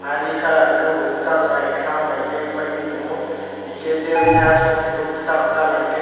ahh ree colour unke bo kwsak bai kakrang bai ke paipi tongo unke chair teia songoti o kisa kalar unke.